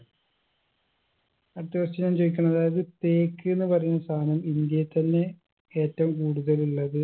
അടുത്ത question ഞാൻ ചോയിക്ക്ന്ന് അതായത് തേക്ക്ന്ന് പറയുന്ന സാനം ഇന്ത്യയിതന്നെ ഏറ്റവും കൂടുതലുള്ളത്